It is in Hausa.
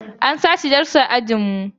An sace dastar ajin mu